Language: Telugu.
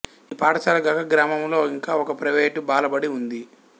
ఈ పాఠశాలగాక గ్రామములో ఇంకా ఒక ప్రైవేటు బాలబడి ఉంది